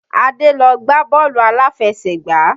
Àdé lọ gbá bọ́ọ̀lù aláfẹsẹ̀gbá.